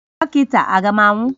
Dọkịta, A ga m anwụ?